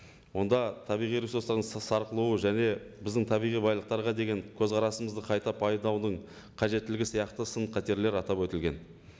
онда табиғи ресурстардың сарқылуы және біздің табиғи байлықтарға деген көзқарасымызды қайта пайдаланудың қажеттілігі сияқты сын қатерлер атап өтілген